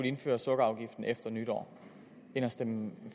indføre sukkerafgiften efter nytår end at stemme